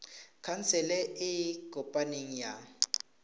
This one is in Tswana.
khansele e e kopaneng ya